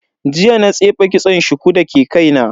Jiya na tsefe kitson shuku dake kaina.